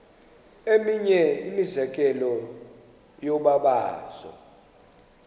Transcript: eminye imizekelo yombabazo